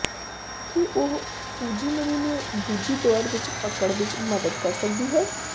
ਕੀ ਉਹ ਫੁਜਿਮਰੀ ਨੂੰ ਦੂਜੀ ਦੌਰ ਵਿਚ ਧੱਕਣ ਵਿਚ ਮਦਦ ਕਰ ਸਕਦੀ ਹੈ